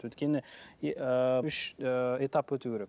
өйткені ыыы үш ыыы этап өту керек